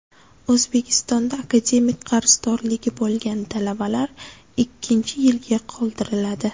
O‘zbekistonda akademik qarzdorligi bo‘lgan talabalar ikkinchi yilga qoldiriladi.